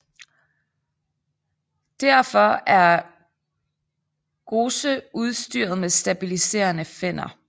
Derfor er GOCE udstyret med stabiliserende finner